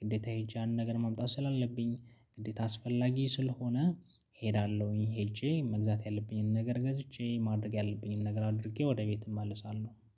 ግዴታ ሄጄ ያንን ነገር ማምጣት ስላለብኝ ግዴታ አስፈላጊ ስለሆነ እሄዳለሁኝ። ሄጄ መግዛት ያለብኝን ነገር ገዝቼ ማድረግ ያለብኝን ነገር አድርጌ ወደ ቤት እመልሳለሁ